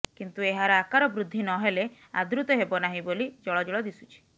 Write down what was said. କିନ୍ତୁ ଏହାର ଆକାର ବୃଦ୍ଧି ନ ହେଲେ ଆଦୃତ ହେବ ନାହିଁ ବୋଲି ଜଳଜଳ ଦିଶୁଛି